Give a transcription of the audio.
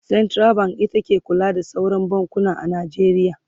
central bank ita ke kula da sauran bankuna a Najeriya